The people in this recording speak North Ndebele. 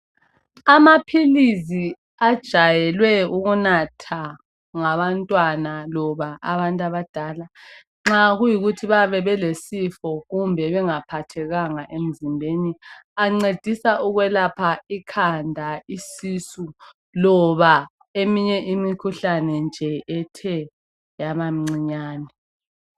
Amaphilizi ajayelwe ukunatha ngabantwana loba abantu abadala nxa kuyikuthi bayabe belesifo kumbe bengaphathekanga emzimbeni ancedisa ukwelapha ikhanda, isisu loba eminye imikhuhlane nje ethe yabamncinyane.